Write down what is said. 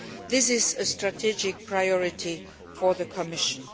This is a strategic priority for the Commission.